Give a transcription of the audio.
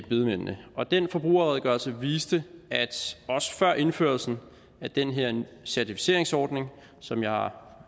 bedemændene og den forbrugerredegørelse viste at også før indførelsen af den her certificeringsordning som jeg har